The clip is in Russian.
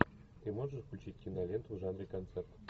ты можешь включить киноленту в жанре концерт